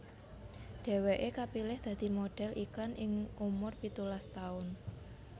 Dheweké kapilih dadi modhel iklan ing umur pitulas taun